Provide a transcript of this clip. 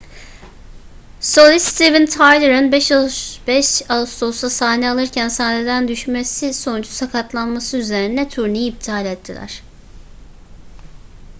solist steven tyler'ın 5 ağustos'ta sahne alırken sahneden düşmesi sonucu sakatlanması üzerine turneyi iptal ettiler